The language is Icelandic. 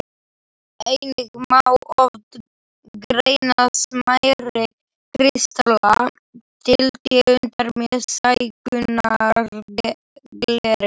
Einnig má oft greina smærri kristalla til tegundar með stækkunargleri.